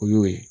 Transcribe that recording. O y'o ye